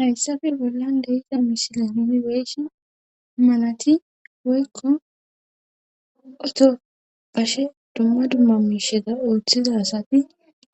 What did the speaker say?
hayssafe bollan de'za mishila nuni beyshin manati woykko oto pashe dumma dumma miisheza ooththiza asati